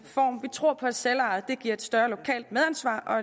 tror på at selveje giver et større lokalt medansvar og